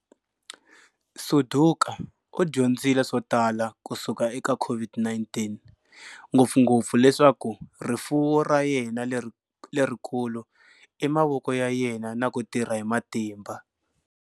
Suduka u dyondzile swo tala kusuka eka COVID-19, ngopfungopfu leswaku rifuwo ra yena lerikulu i mavoko ya yena na ku tirha hi matimba.